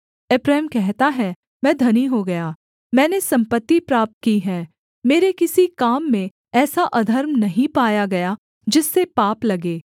एप्रैम कहता है मैं धनी हो गया मैंने सम्पत्ति प्राप्त की है मेरे किसी काम में ऐसा अधर्म नहीं पाया गया जिससे पाप लगे